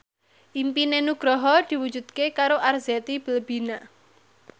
impine Nugroho diwujudke karo Arzetti Bilbina